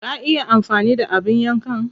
Ka iya amfani da abin yankan?